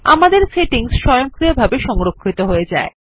আমাদের সেটিংস স্বয়ংক্রিয়ভাবে সংরক্ষিত হয়ে যায়